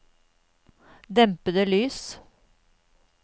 dempede lys